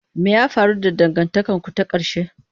Me ya faru da dangantakarku ta ƙarshe?